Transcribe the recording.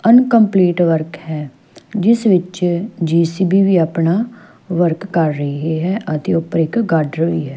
Incomplete work ਹੈ ਜਿਸ ਵਿੱਚ ਜੇ_ਸੀ_ਬੀ ਵੀ ਆਪਣਾ ਵਰਕ ਕਰ ਰਹੀ ਹੈ ਅਤੇ ਉੱਪਰ ਇੱਕ ਗਾਡਰ ਵੀ ਹੈ।